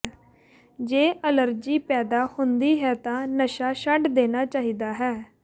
ਜੇ ਅਲਰਜੀ ਪੈਦਾ ਹੁੰਦੀ ਹੈ ਤਾਂ ਨਸ਼ਾ ਛੱਡ ਦੇਣਾ ਚਾਹੀਦਾ ਹੈ